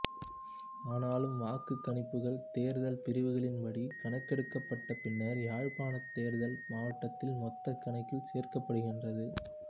ஆனாலும் வாக்குக் கணிப்புகள் தேர்தல் பிரிவுகளின் படி கணக்கெடுக்கப்பட்டு பின்னர் யாழ்ப்பாணத் தேர்தல் மாவட்டத்தின் மொத்தக்கணக்கில் சேர்க்கப்படுகின்றது